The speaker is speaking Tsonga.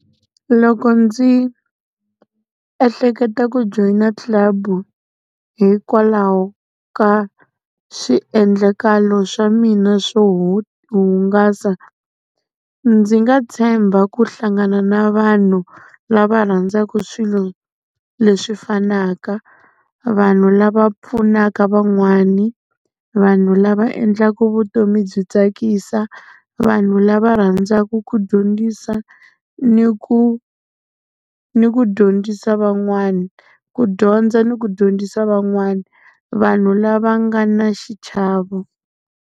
Loko ndzi ehleketa ku joyina club hikwalaho ka swiendlakalo swa mina swo hungasa, ndzi nga tshemba ku hlangana na vanhu lava rhandzaku swilo leswi fanaka, vanhu lava pfunaka van'wani, vanhu lava endlaka vutomi byi tsakisa, vanhu lava rhandzaku ku dyondzisa ni ku ni ku dyondzisa van'wani ku dyondza ni ku dyondzisa van'wana, vanhu lava nga na xichavo.